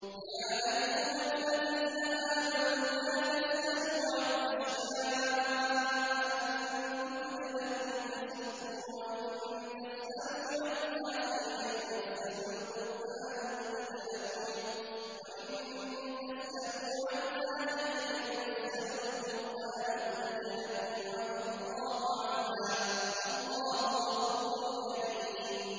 يَا أَيُّهَا الَّذِينَ آمَنُوا لَا تَسْأَلُوا عَنْ أَشْيَاءَ إِن تُبْدَ لَكُمْ تَسُؤْكُمْ وَإِن تَسْأَلُوا عَنْهَا حِينَ يُنَزَّلُ الْقُرْآنُ تُبْدَ لَكُمْ عَفَا اللَّهُ عَنْهَا ۗ وَاللَّهُ غَفُورٌ حَلِيمٌ